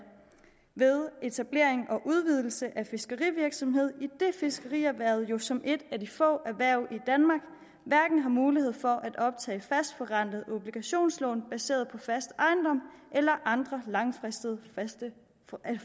ved etablering og udvidelse af fiskerivirksomhed idet fiskerierhvervet jo som et af de få erhverv i har mulighed for at optage fastforrentede obligationslån baseret på fast ejendom eller andre langfristede